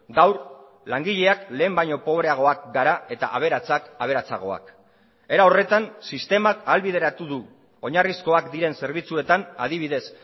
gaur langileak lehen baino pobreagoak gara eta aberatsak aberatsagoak era horretan sistemak ahalbideratu du oinarrizkoak diren zerbitzuetan adibidez